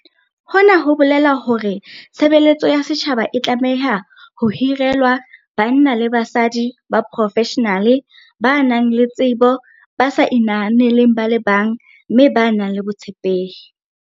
Hona ho bolela hore tshe beletso ya setjhaba e tlameha ho hirelwa banna le basadi ba profeshenale, ba nang le tsebo, ba sa inahaneleng ba le bang mme ba nang le botshepehi.